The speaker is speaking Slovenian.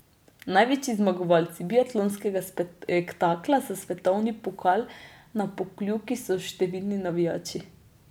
Največji zmagovalci biatlonskega spektakla za svetovni pokal na Pokljuki so številni navijači.